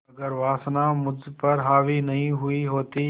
अगर वासना मुझ पर हावी नहीं हुई होती